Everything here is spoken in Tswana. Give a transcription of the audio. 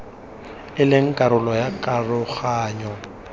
e leng karolo ya karoganyo